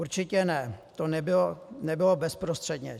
Určitě ne, to nebylo bezprostředně.